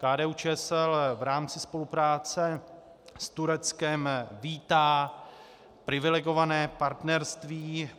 KDU-ČSL v rámci spolupráce s Tureckem vítá privilegované partnerství.